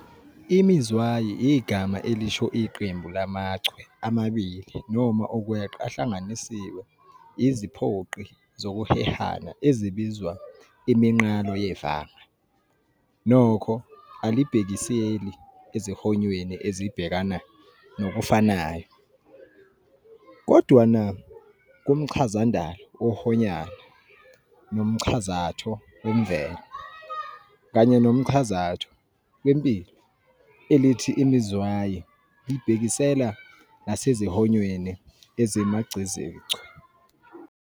Imizwayi igama elisho iqembu lamaChwe amabili noma ukweqa ahlanganiswe iziphoqi zokuhehana ezibizwa iminqalo yevanga, nokho alibhekiseli ezihonyweni ezibhekana nokufanayo. Kodwana kumchazandalo wohoyana, nomchazatho wemvelo, kanye nomchazatho wempilo, elithi imizwayi libhekisela nasezihonyweni ezimagcezichwe.